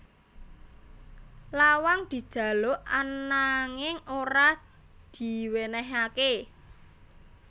Lawang dijaluk ananging ora diwènèhaké